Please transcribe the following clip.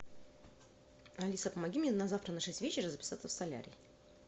алиса помоги мне на завтра на шесть вечера записаться в солярий